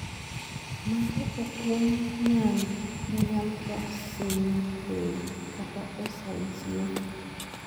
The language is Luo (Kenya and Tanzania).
Mane okwong yangi en 'alpha synuclein' kata 'SNCA'.